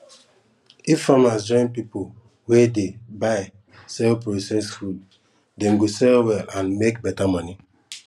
if farmers join people wey dey buy sell process food dem go sell well and make better money